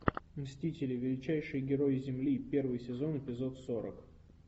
мстители величайшие герои земли первый сезон эпизод сорок